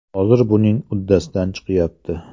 Hozir buning uddasidan chiqyapti.